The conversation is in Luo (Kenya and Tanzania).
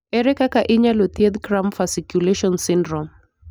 Ere kaka inyalo thiedh cramp fasciculation syndrome?